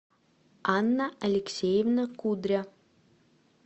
анна алексеевна кудря